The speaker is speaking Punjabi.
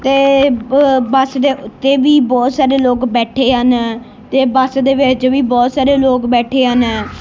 ਤੇ ਬੱਸ ਦੇ ਉੱਤੇ ਵੀ ਬਹੁਤ ਸਾਰੇ ਲੋਕ ਬੈਠੇ ਹਨ ਤੇ ਬੱਸ ਦੇ ਵਿੱਚ ਵੀ ਬਹੁਤ ਸਾਰੇ ਲੋਕ ਬੈਠੇ ਹਨ।